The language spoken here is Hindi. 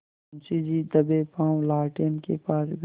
मुंशी जी दबेपॉँव लालटेन के पास गए